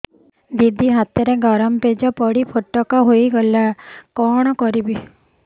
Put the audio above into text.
ଦିଦି ହାତରେ ଗରମ ପେଜ ପଡି ଫୋଟକା ହୋଇଗଲା କଣ କରିବି